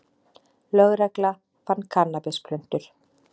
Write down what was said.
Lögregla fann kannabisplöntur